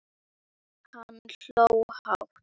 Hann hló lágt.